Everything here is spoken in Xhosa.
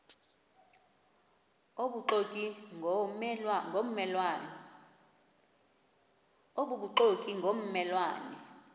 obubuxoki ngomme lwane